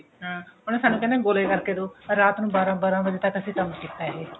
ਹਾਂ ਉਹਨੇ ਸਾਨੂੰ ਕਹਿਣਾ ਗੋਲੇ ਕਰਕ ਦੋ ਰਾਤ ਨੂੰ ਬਾਰਾਂ ਬਾਰਾਂ ਵਜੇ ਤੱਕ ਕੰਮ ਕੀਤਾ ਇਹ